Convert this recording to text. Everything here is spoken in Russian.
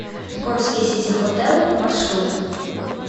горский сити хотэл маршрут